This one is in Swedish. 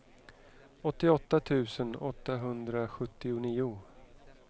åttioåtta tusen åttahundrasjuttionio